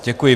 Děkuji.